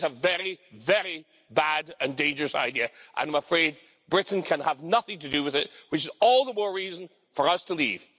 It's a very, very bad and dangerous idea and I'm afraid Britain can have nothing to do with it, which is all the more reason for us to leave.